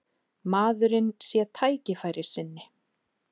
Maðurinn sé tækifærissinni